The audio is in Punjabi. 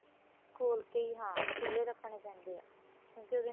ਖੋਲ ਕੀ ਹਾਂ ਖੁੱਲੇ ਰੱਖਣੇ ਪੈਂਦੇ ਏ ਕਿਉਂਕਿ ਉਹਦੇ